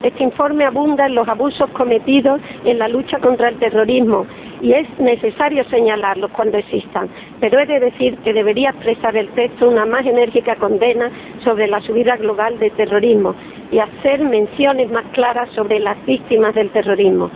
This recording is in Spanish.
Este informe abunda en los abusos cometidos en la lucha contra el terrorismo, y es necesario señalarlos cuando existan, pero he de decir que el texto debería expresar una más enérgica condena de la subida global del terrorismo y hacer menciones más claras sobre las víctimas del terrorismo.